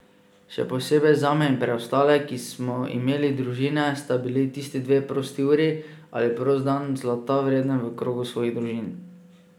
Še posebej zame in preostale, ki smo imeli družine, sta bili tisti dve prosti uri ali prosti dan, zlata vreden v krogu svojih družin.